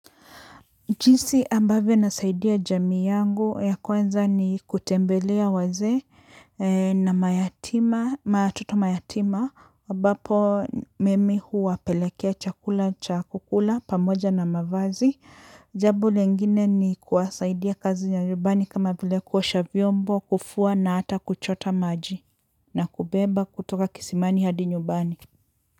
Jinsi ambavyo nasaidia jamii yangu ya kwanza ni kutembelea wazee na mayatima, watoto mayatima, ambapo mimi huwapelekea chakula, cha kukula, pamoja na mavazi. Jambo lingine ni kuwasaidia kazi ya nyumbani kama vile kuosha vyombo, kufua na hata kuchota maji na kubeba kutoka kisimani hadi njubani.